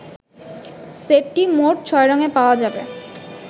সেটটি মোট ছয় রঙে পাওয়া যাবে।